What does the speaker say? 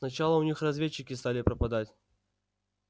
сначала у них разведчики стали пропадать